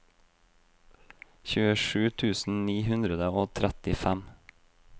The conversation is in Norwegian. tjuesju tusen ni hundre og trettifem